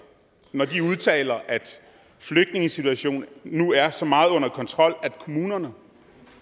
når de udtaler at flygtningesituationen nu er så meget under kontrol at kommunerne